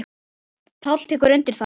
Páll tekur undir það.